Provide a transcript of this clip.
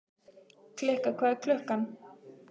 Kikka, hvað er klukkan?